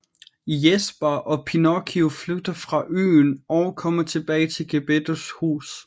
Jesper og Pinocchio flygter fra øen og kommer tilbage til Gepettos hus